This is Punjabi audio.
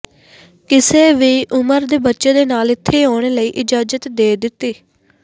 ਕਿਸੇ ਵੀ ਉਮਰ ਦੇ ਬੱਚੇ ਦੇ ਨਾਲ ਇੱਥੇ ਆਉਣ ਲਈ ਇਜਾਜ਼ਤ ਦੇ ਦਿੱਤੀ